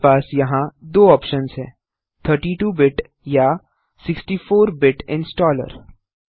आपके पास यहाँ दो ऑप्शन्स हैं 32 बिट या 64 बिट इंस्टॉलर